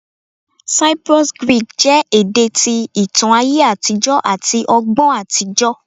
Cyprus Greek jẹ ede ti itan aye atijọ ati ọgbọn atijọ